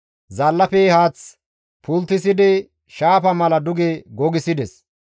Zaallafe haath pulttisidi shaafa mala duge gogissides.